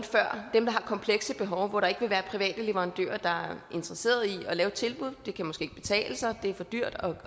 dem der har komplekse behov hvor der ikke vil være private leverandører der er interesseret i at lave et tilbud det kan måske ikke betale sig det er for dyrt